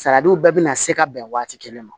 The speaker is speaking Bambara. Sariw bɛɛ bina se ka bɛn waati kelen ma